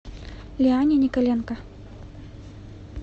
лиане николенко